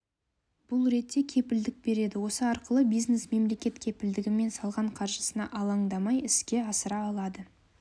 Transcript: бұл ретте кепілдік береді осы арқылы бизнес мемлекет кепілдігімен салған қаржысына алаңдамай іске асыра алады